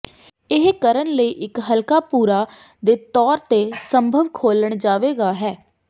ਇਹ ਕਰਨ ਲਈ ਇੱਕ ਹਲਕਾ ਭੂਰਾ ਦੇ ਤੌਰ ਤੇ ਸੰਭਵ ਖੋਲ੍ਹਣ ਜਾਵੇਗਾ ਹੈ